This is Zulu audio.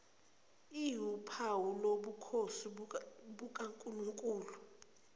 iwuphawu lobukhosi bukankulunkulu